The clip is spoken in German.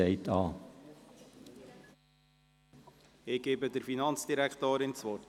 Ich gebe der Finanzdirektorin das Wort.